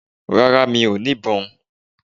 Rárá mi ò ní ìbọn